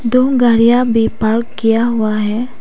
दो गाड़ियां भी पार्क किया हुआ है।